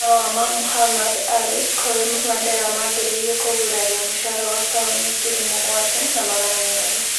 Marũa ma Mohammad Ali kũrĩ Mandela maambĩrĩirie kũgurario mũcaara wa Pauni ngiri mũgwanja na magana meerĩ